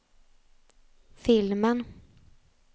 filmen